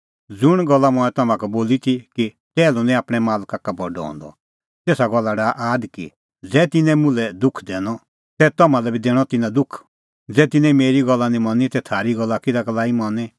ज़ुंण गल्ल मंऐं तम्हां का बोली ती कि टैहलू निं आपणैं मालक का बडअ हंदअ तेसा गल्ला डाहा आद कि ज़ै तिन्नैं मुल्है दुख दैनअ तै तम्हां लै बी दैणअ तिन्नां दुख ज़ै तिन्नैं मेरी गल्ल निं मनी तै थारी गल्ल किधा का लाई मनी